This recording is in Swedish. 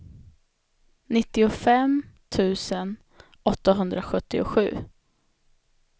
nittiofem tusen åttahundrasjuttiosju